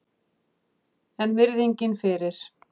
En virðingin fyrir